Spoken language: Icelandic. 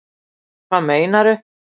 Hvað meinaru